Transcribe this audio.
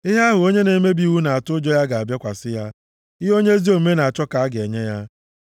Ihe ahụ onye na-emebi iwu nʼatụ ụjọ ya ga-abịakwasị ya, ihe onye ezi omume na-achọ ka a ga-enye ya.